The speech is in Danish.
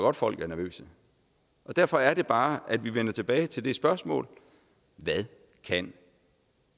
at folk er nervøse derfor er det bare at vi vender tilbage til det spørgsmål hvad kan